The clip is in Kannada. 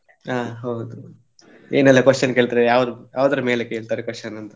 ಹ ಹೌದು. ಏನೆಲ್ಲಾ question ಕೇಳ್ತಾರೆ ಯಾವ್~ ಯಾವ್ದರ ಮೇಲೆ ಕೇಳ್ತಾರೆ question ಅಂತ.